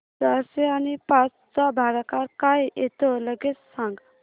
चारशे आणि पाच चा भागाकार काय येतो लगेच सांग